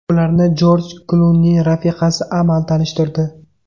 Ularni Jorj Klunining rafiqasi Amal tanishtirdi.